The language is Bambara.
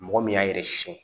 Mɔgɔ min y'a yɛrɛ sɛgɛn